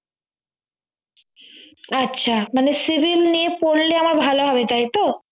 আচ্ছা মানে civil নিয়ে পড়লে আমার ভালো হবে তাই তো